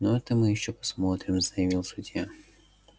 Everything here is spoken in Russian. ну это мы ещё посмотрим заявил судья